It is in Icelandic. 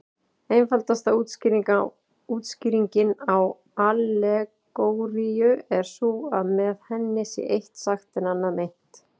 Einfaldasta útskýringin á allegóríu er sú að með henni sé eitt sagt en annað meint.